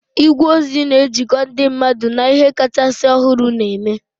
Igwe ozi na-ejikọ ndị mmadụ na ihe kachasị ọhụrụ na-eme